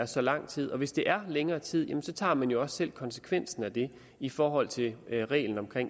så lang tid og hvis det er i længere tid tager man jo også selv konsekvensen af det i forhold til reglerne om